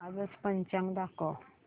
आजचं पंचांग दाखव